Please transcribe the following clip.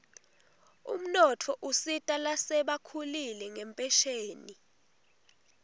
umnotfo usita lasebakhulile ngenphesheni